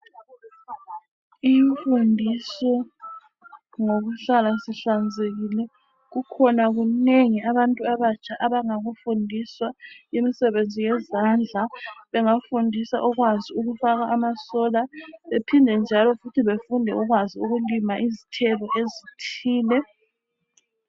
Imfundiso ngokuhlala sihlanzekile. Kukhona okunengi abantu abatsha abangakufundiswa. Imisebenzi yezandla bengafundiswa ukukwazi ukufaka amasola bephinde njalo befundiswe ukulima izithelo ezithile.